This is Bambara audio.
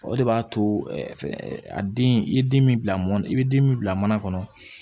O de b'a to a den i ye den min bila mɔn na i bɛ den min bila mana kɔnɔ